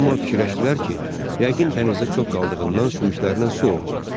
Amma fikirləşdilər ki, yəqin dənizdə çox qaldığından sümüklərinin su opub.